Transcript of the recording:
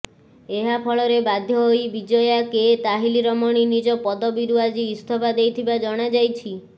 ଏହାଫଳରେ ବାଧ୍ୟ ହୋଇ ବିଜୟା କେ ତାହିଲରମଣୀ ନିଜ ପଦବୀରୁ ଆଜି ଇସ୍ତଫା ଦେଇଥିବା ଜଣାଯାଇଛି